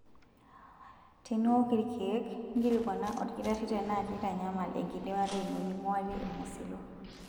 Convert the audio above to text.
Teniwok ilkeek, nkilikuana olkitarri tenaa keitanyamal enkidimata ino ninguarie ilng'usilo.